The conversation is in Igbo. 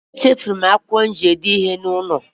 Echefuru m akwụkwọ mụ ji edee nootu n'ụlọ